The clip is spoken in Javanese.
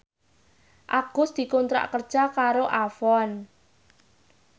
Agus dikontrak kerja karo Avon